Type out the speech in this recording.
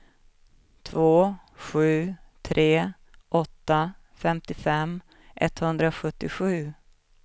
två sju tre åtta femtiofem etthundrasjuttiosju